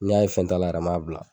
Ni n y'a ye fɛn t'a la yɛrɛ n m'a bila.